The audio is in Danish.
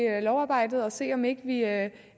lovarbejdet og se om vi ikke